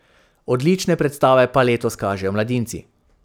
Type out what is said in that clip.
Odlične predstave pa letos kažejo mladinci.